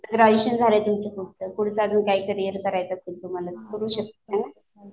Graduation झालाय फक्त तुमचं अजून पुढचं अजून काय करायचं असलं तर करू शकताय.